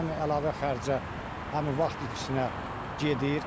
Həm əlavə xərcə, həm vaxt itkisinə gedir.